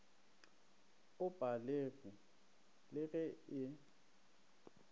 o palege le ge e